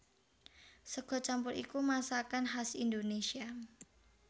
Sega campur iku masakan khas Indonésia